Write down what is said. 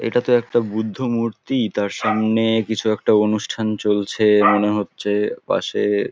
এটা তো একটা বুদ্ধ মূর্তি-ই তার সামনে-এ কিছু একটা অনুষ্ঠান চলছে মনে হচ্ছে পাশে --